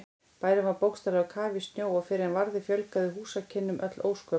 Bærinn var bókstaflega á kafi í snjó og fyrr en varði fjölgaði húsakynnum öll ósköp.